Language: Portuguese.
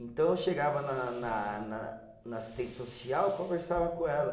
Então, eu chegava na na na na assistente social, conversava com ela.